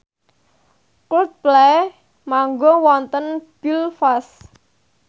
Coldplay manggung wonten Belfast